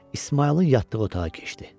İsmayılın yatdığı otağa keçdi.